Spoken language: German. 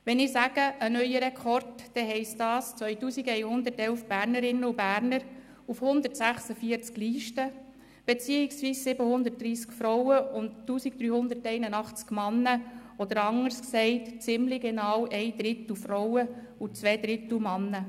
Wenn ich von einem neuen Rekord spreche, dann heisst das 2111 Bernerinnen und Berner auf 146 Listen beziehungsweise 730 Frauen und 1381 Männer, oder anders gesagt, ziemlich genau ein Drittel Frauen und zwei Drittel Männer.